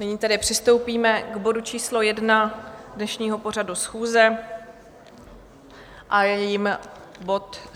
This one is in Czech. Nyní tedy přistoupíme k bodu číslo jedna dnešního pořadu schůze a je jím bod